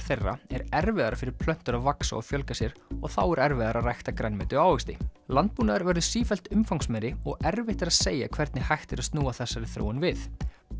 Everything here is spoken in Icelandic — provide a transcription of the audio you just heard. þeirra er erfiðara fyrir plöntur að vaxa og fjölga sér og þá er erfiðara að rækta grænmeti og ávexti landbúnaður verður sífellt umfangsmeiri og erfitt að segja hvernig hægt er að snúa þessari þróun við